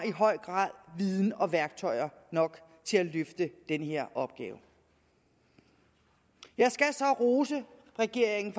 i høj grad har viden og værktøjer nok til at løfte den her opgave jeg skal så rose regeringen